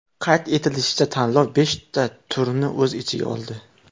Qayd etilishicha, tanlov beshta turni o‘z ichiga oldi.